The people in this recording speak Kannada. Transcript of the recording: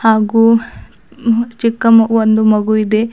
ಹಾಗು ಮ ಚಿಕ್ಕ ಒಂದು ಮಗು ಇದೆ.